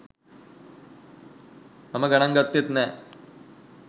මම ගනන් ගත්තෙත් නෑ